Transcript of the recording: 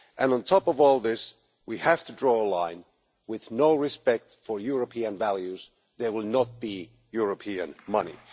On top of all this, we have to draw a line with no respect for European values, there will be no European money.